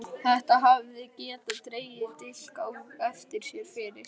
Þetta hefði getað dregið dilk á eftir sér fyrir